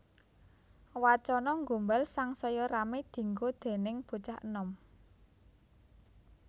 Wacana gombal sangsaya ramé dienggo déning bocah enom